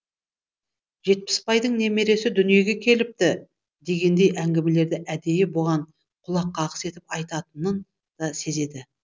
жетпісбайдың немересі дүниеге келіпті дегендей әңгімелерді әдейі бұған құлаққағыс етіп айтатынын да сезеді